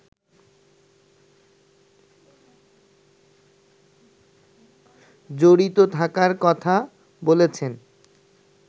জড়িত থাকার কথা বলেছেন